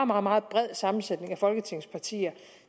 meget meget bred sammensætning af folketingets partier